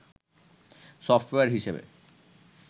software হিসেবে